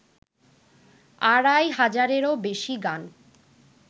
আড়াই হাজারেরও বেশি গান